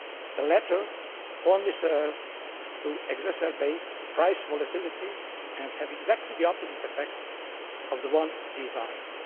The latter only serve to exacerbate price volatility and have exactly the opposite effect of the one desired.